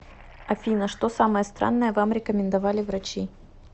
афина что самое странное вам рекомендовали врачи